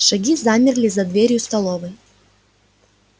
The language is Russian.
шаги замерли за дверью столовой